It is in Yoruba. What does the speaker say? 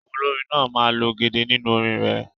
Àwọn olórin náà máa ń lo gẹ̀dẹ̀ nínú orin rẹ̀